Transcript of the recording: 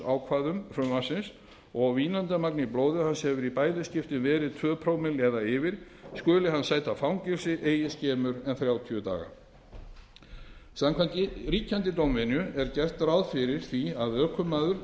gegn ölvunarakstursákvæðum frumvarpsins og vínandamagn í blóði hans hefur í bæði skiptin verið tvö prómill eða yfir skuli hann sæta fangelsi eigi skemur en þrjátíu daga samkvæmt ríkjandi dómvenju er gert ráð fyrir því að ökumaður